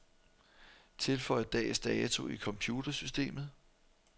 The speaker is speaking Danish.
Tilføj dags dato i computersystemet.